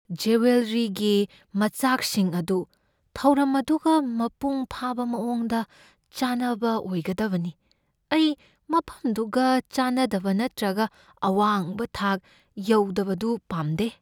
ꯖꯨꯋꯦꯜꯔꯤꯒꯤ ꯃꯆꯥꯛꯁꯤꯡ ꯑꯗꯨ ꯊꯧꯔꯝ ꯑꯗꯨꯒ ꯃꯄꯨꯡ ꯐꯥꯕ ꯃꯑꯣꯡꯗ ꯆꯥꯅꯕ ꯑꯣꯏꯒꯗꯕꯅꯤ ꯫ ꯑꯩ ꯃꯐꯝꯗꯨꯒ ꯆꯥꯅꯗꯕ ꯅꯠꯇ꯭ꯔꯒ ꯑꯋꯥꯡꯕ ꯊꯥꯛ ꯌꯧꯗꯕꯗꯨ ꯄꯥꯝꯗꯦ ꯫